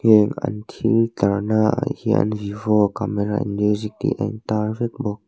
heng an thil tlarnaah hian vivo camera en miuzik tih a intâr vek bawk.